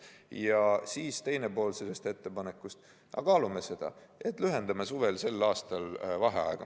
Ja teine pool sellest ettepanekust: kaalume seda, et lühendame tänavu suvel vaheaega.